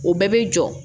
O bɛɛ bɛ jɔ